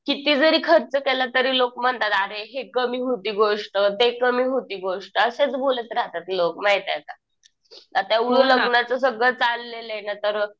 किती जरी खर्च केला तरी लोकं म्हणतात अरे हि कमी होती गोष्ट ते कमी होती गोष्ट असेच बोलत राहतात लोकं माहितीये का. आता एवढं लग्नाचं सगळं चाललंय ना तर.